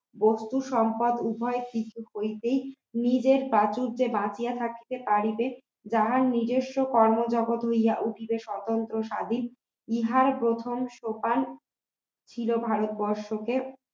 বস্তু সম্পদ উভয় কিছু হইতেই নিজের প্রাচুর্যে বাঁচিয়া থাকিতে পারিলে যাহা নিজস্ব কর্মজগৎ হইয়া উঠিবে স্বতন্ত্র স্বাধীন ইহার প্রথম সোপান ছিল ভারতবর্ষকে